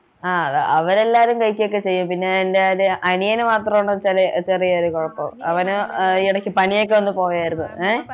ആഹ് അവരെല്ലാരും കഴിക്കുഒക്കെ ചെയ്യും പിന്നെ എൻ്റെ ഒരു അനിയന് മാത്രമാണ് ചെറി ചെറിയൊരു കുഴപ്പം അവനു ഏർ ഇടയ്ക്ക് പനിയൊക്കെ വന്നു പോയതായിരുന്നു ഏർ